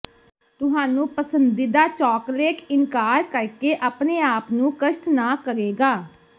ਤੁਹਾਨੂੰ ਪਸੰਦੀਦਾ ਚੌਕਲੇਟ ਇਨਕਾਰ ਕਰ ਕੇ ਆਪਣੇ ਆਪ ਨੂੰ ਕਸ਼ਟ ਨਾ ਕਰੇਗਾ